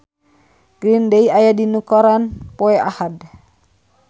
Green Day aya dina koran poe Ahad